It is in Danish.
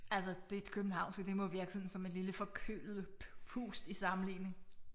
Altså det københavnske det må virke sådan som et lille forkølet pust i sammenligning